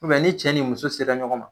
U bɛn ni cɛ ni muso sera ɲɔgɔn ma